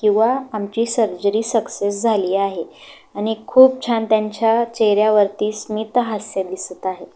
किंवा आमची surgery success झाली आहे आणि खूप छान त्यांच्या चेहर्‍यावरती स्मित हास्य दिसत आहे.